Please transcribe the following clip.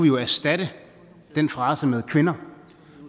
jo erstatte den frase med kvinder